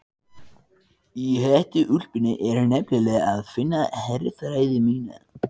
Í hettuúlpunni er nefnilega að finna herfræði mína.